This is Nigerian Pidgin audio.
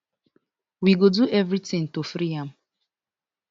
we go do everytin to free am